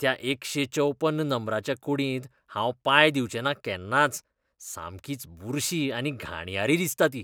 त्या एकशे चौपन्न नंबराच्या कूडींत हांव पांय दिवचेंना केन्नाच, सामकीच बुरशी आनी घाणयारी दिसता ती.